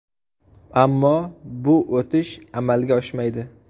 Ammo bu o‘tish amalga oshmaydi.